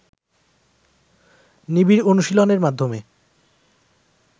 নিবিড় অনুশীলনের মাধ্যমে